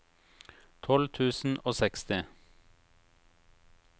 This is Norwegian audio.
tolv tusen og seksti